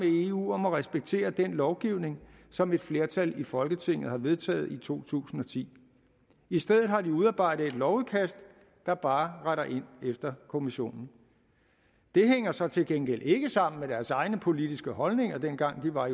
eu om at respektere den lovgivning som et flertal i folketinget har vedtaget i to tusind og ti i stedet har de udarbejdet et lovudkast der bare retter ind efter kommissionen det hænger så til gengæld ikke sammen med deres egne politiske holdninger dengang de var